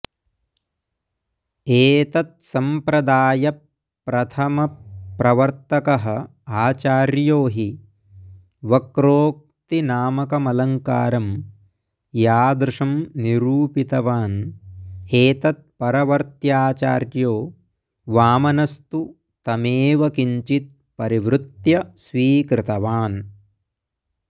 एतत्सम्प्रदायप्रथमप्रवर्तकः आचार्यो हि वक्रोक्तिनामकमलङ्कारं यादृशं निरूपितवान् एतत्परवर्त्याचार्यो वामनस्तु तमेव किञ्चित् परिवृत्य स्वीकृतवान्